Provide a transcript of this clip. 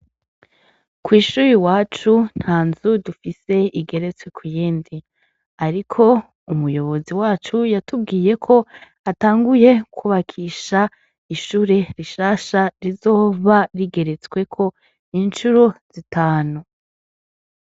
Kw'ishuri wacu nta nzu dufise igeretswe ku iyendi, ariko umuyobozi wacu yatubwiye ko atanguye kwubakisha ishure rishasha rizova rigeretsweko incuru zitanu.